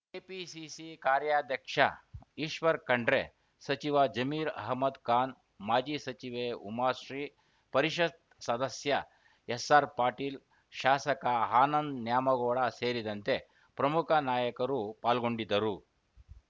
KPCC ಕಾರ್ಯಾಧ್ಯಕ್ಷ ಈಶ್ವರ್‌ ಖಂಡ್ರೆ ಸಚಿವ ಜಮೀರ್‌ ಅಹಮದ್‌ ಖಾನ್‌ ಮಾಜಿ ಸಚಿವೆ ಉಮಾಶ್ರೀ ಪರಿಷತ್‌ ಸದಸ್ಯ ಎಸ್‌ಆರ್‌ಪಾಟೀಲ್‌ ಶಾಸಕ ಆನಂದ ನ್ಯಾಮಗೌಡ ಸೇರಿದಂತೆ ಪ್ರಮುಖ ನಾಯಕರು ಪಾಲ್ಗೊಂಡಿದ್ದರು